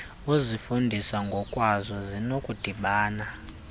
ukuzifundisa ngokwazo zinokudibana